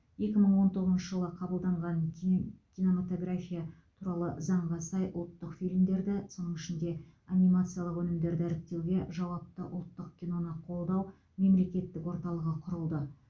екі мың он тоғызыншы жылы қабылданған ким кинематография туралы заңға сай ұлттық фильмдерді соның ішінде анимациялық өнімдерді іріктеуге жауапты ұлттық киноны қолдау мемлекеттік орталығы құрылды